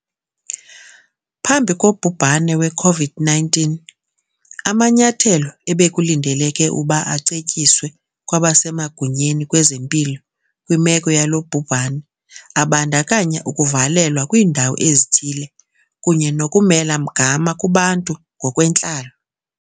Phambi kobhubhane we-COVID-19, amanyathelo ebekulindeleke ukuba acetyiswe kwabasemagunyeni kwezempilo kwimeko yalo bhubhane abandakanya ukuvalelwa kwiindawo ezithile kunye nokumela mgama kubantu ngokwentlalo